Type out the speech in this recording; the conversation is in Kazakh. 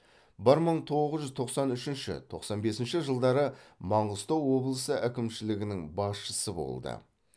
бір мың тоғыз жүз тоқсан үшінші тоқсан бесінші жылдары маңғыстау облысы әкімшілігінің басшысы болды